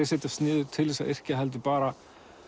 setjast niður til þess að yrkja heldur bara